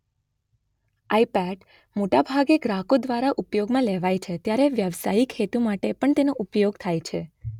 આઇપેટ મોટાભાગે ગ્રાહકો દ્વારા ઉપયોગમાં લેવાય છે ત્યારે વ્યાવસાયિક હેતુ માટે પણ તેનો ઉપયોગ થાય છે.